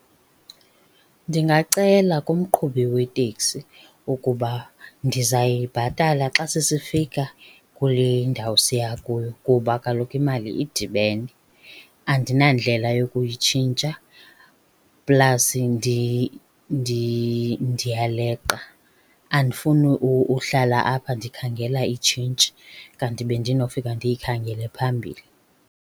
Ndingacela kumqhubi weteksi ukuba ndizayibhatala xa sesifika kule ndawo siya kuyo kuba kaloku imali idibene andinandlela yokuyitshintsha. Plasi ndiyaleqa andifuni, uhlala apha ndikhangela itshintshi kanti bendinofika ndiyikhangele phambili.